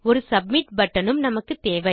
ஒரு submit button உம் நமக்குத்தேவை